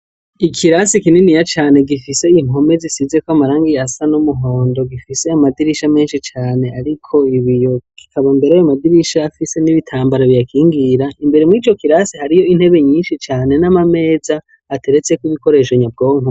Ikirasi kininiya cane gifise inkome zisizeko amarangiye asa nomuhondo gifise amadirisha menshi cane, ariko ibiyo gikabombera ayo amadirisha afise n'ibitambara biyakingira imbere mw ico kirasi hariyo intebe nyinshi cane n'amameza ateretseko ibikoresho nyabwonka.